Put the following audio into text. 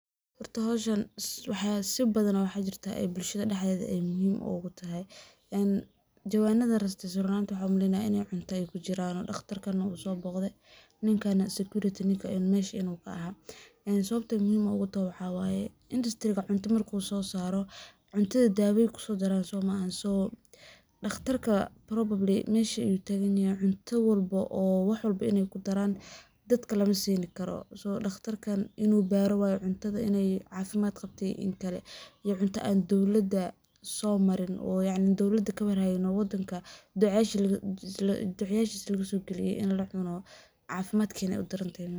Horti hawshan waxaa si badana waxa jirta ay bulshada dhaxeyd ay muhiim ugu tahay. In jawaanada rastiisa runta xumlin inay cunto ay ku jiraan dhaqtarkaan uusan bogdey ninkayna security ninka in meeshay inuu ka ahaa. Isagoo muhiim ugu tahay waxaa waaye, industry cunto markuu u soo saaro cuntada daawa ku daran somaxa. Soo dhaqtarka probably meesha ayuu taginaya cunto walbo oo wax walba inay ku daraan dadka la masiini karo. Soo dhaqtarkan inuu baarwaayo cuntada inay caafimaad qabtay in kale iyo cunto aan dawladda soo maran. Oo yaani dawlad ka war ah in wadanka ducaashiga lagu sugi galin in la xuno caafimaad keenay u darantaynu.